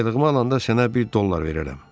aylığımı alanda sənə bir dollar verərəm.